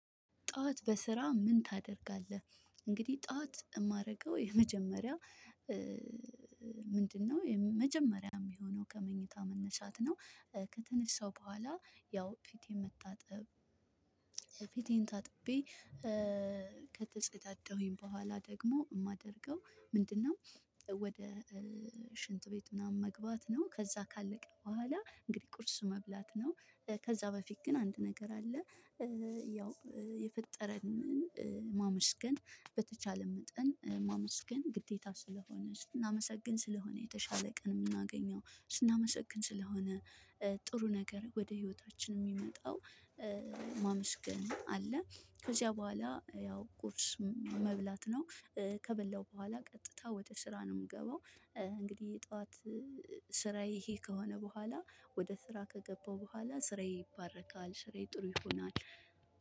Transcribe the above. ጠዋት በስራ ምን ታደርጋለህ? እንግዲህ ጠዋት ማረገው የመጀመሪያ ምንድነው መጀመሪያም ሚሆነው ከመኝታ መነሳት ነው። ከተነሳው በኋላ ያው ፊቴ መጣጥብ። ፊቴን ታጥቤ። ከተጸዳደሁኝ በኋላ ደግሞ ማደርገው ምንድነው? ወደ ሽንት ቤት ምናምን መግባት ነው። ከዛ ካለቀ በኋላ እንግዲህ ቁርስ መብላት ነው። ከዛ በፊት ግን አንድ ነገር አለ። ያው የፈጠረንን ማመስገን በተቻለ መጠን ማመስገን ግዴታ ስለሆነ ስናመሰግን ስለሆነ የተሻለ ቀን ምናገኘው ስናመሰግን ስለሆነ። ጥሩ ነገር ወደ ህይወታችን ሚመጣው። ማመስገን አለ ከዛ በኋላ ያው ቁርስ መብላት ነው። ከበላው በኋላ ቀጥታ ወደ ስራ ነው ምገባው። እንግዲህ ጠዋት ስራዬ ይሄ ከሆነ በኋላ ወደ ስራ ከገባው በኋላ ስራዬ ይባረካል ስራዬ ጥሩ ይሆናል።